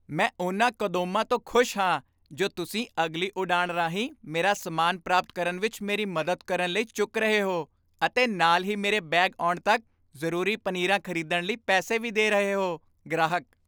ਮੈਂ ਉਨ੍ਹਾਂ ਕਦੋਂਮਾਂ ਤੋਂ ਖੁਸ਼ ਹਾਂ ਜੋ ਤੁਸੀਂ ਅਗਲੀ ਉਡਾਣ ਰਾਹੀਂ ਮੇਰਾ ਸਾਮਾਨ ਪ੍ਰਾਪਤ ਕਰਨ ਵਿੱਚ ਮੇਰੀ ਮਦਦ ਕਰਨ ਲਈ ਚੁੱਕ ਰਹੇ ਹੋ ਅਤੇ ਨਾਲ ਹੀ ਮੇਰੇ ਬੈਗ ਆਉਣ ਤੱਕ ਜ਼ਰੂਰੀ ਪਨੀਰਾਂ ਖ਼ਰੀਦਣ ਲਈ ਪੈਸੇ ਵੀ ਦੇ ਰਹੇ ਹੋ ਗ੍ਰਾਹਕ